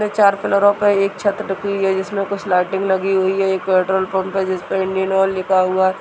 यह चार पिल्लरों पे एक छत टिकी हुई है जिसमें कुछ लाइटिंग लगी हुई है यह पेट्रोल पंप है जिस पर इंडियन ऑयल लिखा हुआ है।